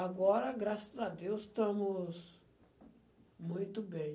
Agora, graças a Deus, estamos muito bem.